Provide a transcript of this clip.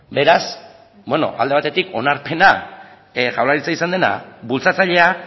beraz bueno alde batetik onarpena jaurlaritza izan dena bultzatzailea